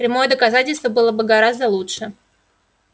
прямое доказательство было бы гораздо лучше